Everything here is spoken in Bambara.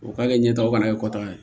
O ka kɛ ɲɛtagaw fana ye kɔtaga ye